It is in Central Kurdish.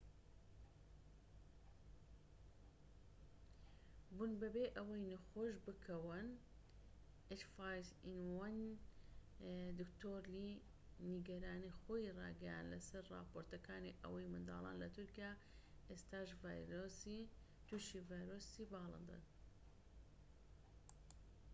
دکتۆر لی نیگەرانی خۆی ڕاگەیاند لەسەر راپۆرتەکانی ئەوەی منداڵان لە تورکیا ئێستا توشی ڤایرۆسی باڵندە ah5n1 بون بەبێ ئەوەی نەخۆش بکەون